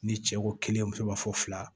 Ni cɛ ko kelen muso b'a fɔ fila